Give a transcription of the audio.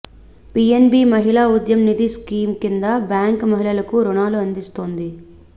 PNB Mahila Udyam Nidhi scheme కింద bank మహిళలకు రుణాలు అందిస్తోంది